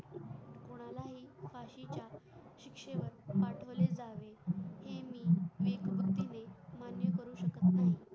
शिकशे वर पाठवले जावे हे मी देशभक्ती ने मान्य करू शकत नाही